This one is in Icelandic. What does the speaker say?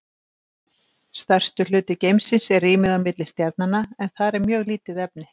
Stærstur hluti geimsins er rýmið á milli stjarnanna en þar er mjög lítið efni.